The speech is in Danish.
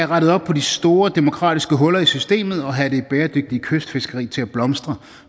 rettet op på de store demokratiske huller i systemet og have det bæredygtige kystfiskeri til at blomstre